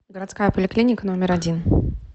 городская поликлиника номер один